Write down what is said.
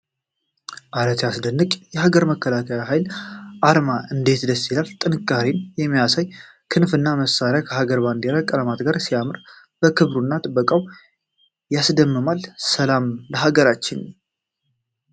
ኧረ ሲያስደንቅ! የሀገር መከላከያ ኃይል አርማ እንዴት ደስ ይላል! ጥንካሬን የሚያሳዩ ክንፍና መሳሪያዎች ከሀገራችን ባንዲራ ቀለማት ጋር ሲያምሩ! ክብሩና ጥበቃው ያስደምማል! ሰላም ለሀገራችን!